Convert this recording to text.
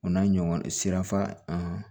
O n'a ɲɔgɔn sira